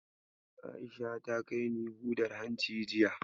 A'isha ta kai ni hudar hanci jiya.